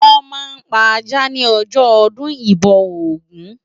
Wòn ma n pá àjá ni òjò òdùn ibò ógùn